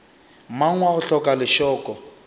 mang wa go hloka lešoko